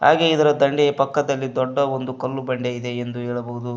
ಹಾಗೆ ಇದರ ದಂಡೆಯ ಪಕ್ಕದಲ್ಲಿ ದೊಡ್ಡ ಒಂದು ಕಲ್ಲು ಬಂಡೆ ಇದೆ ಎಂದು ಹೇಳಬಹುದು.